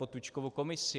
Potůčkovu komisi.